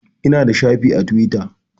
Eh, Ina da shafi a Tiwita